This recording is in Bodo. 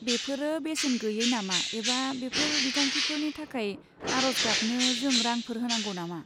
बेफोरो बेसेन गैयै नामा एबा बेफोर बिथांखिफोरनि थाखाय आरज गाबनो जों रांफोर होनांगौ नामा?